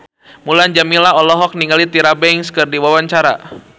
Mulan Jameela olohok ningali Tyra Banks keur diwawancara